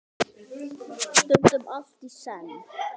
Stundum allt í senn.